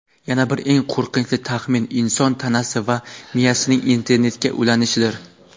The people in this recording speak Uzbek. Yana bir eng qo‘rqinchli taxmin – inson tanasi va miyasining internetga ulanishidir.